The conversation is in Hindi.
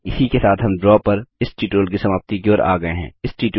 इसी के साथ हम ड्रा पर इस ट्यूटोरियल की समाप्ति की ओर आ गये हैं